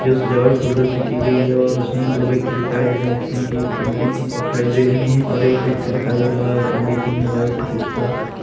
सजावट फूलों से की गई और उसमें दो व्यक्ति दिखाई दे रहे हैं जिसमें की एक पंडित जी दिखाई दे रहे हैं और एक व्यक्ति दिखाई दे रहा है पंडित जी ने व्हाइट कुर्ता--